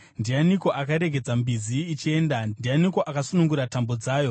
“Ndianiko akaregedza mbizi ichienda? Ndianiko akasunungura tambo dzayo?